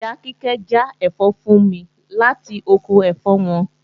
Ìyá Kíkẹ́ já ẹ̀fọ́ fún mi láti oko ẹ̀fọ́ wọn